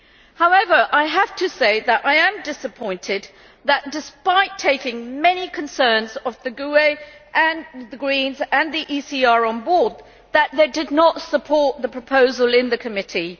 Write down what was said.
However, I have to say that I am disappointed that, despite taking many concerns of the GUE NGL, the Greens and the ECR on board, that they did not support the proposal in committee.